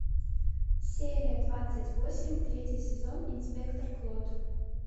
серия двадцать восемь третий сезон инспектор клот